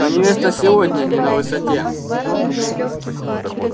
но невеста сегодня не на высоте